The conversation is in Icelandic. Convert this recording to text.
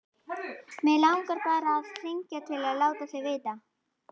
Mig langaði bara að hringja til að láta þig vita.